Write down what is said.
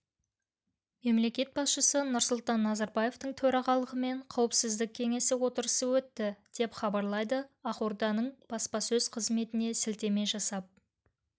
мемлекет басшысы нұрсұлтан назарбаевтың төрағалығымен қауіпсіздік кеңесі отырысы өтті деп хабарлайды ақорданың баспасөз қызметіне сілтеме жасап